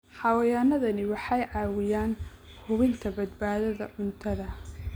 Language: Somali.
Xayawaanadani waxay caawiyaan hubinta badbaadada cuntada.